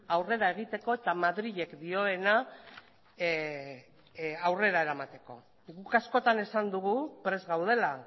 aurrera egiteko eta madrilek dioena aurrera eramateko guk askotan esan dugu prest gaudela